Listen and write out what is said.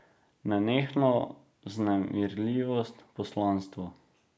Nenehno vznemirljivost, poslanstvo.